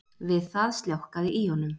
Við það sljákkaði í honum